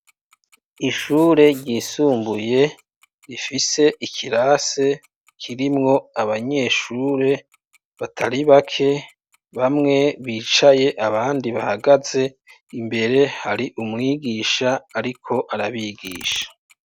Ishure ryisumbuye rifise ikirase kirimwo abanyeshure batari bake bamwe bicaye abandi bahagaze imbere hari umwigisha ariko arabigisha